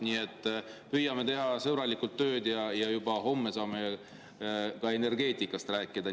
Nii et püüame teha sõbralikult tööd ja juba homme saame ka energeetikast rääkida.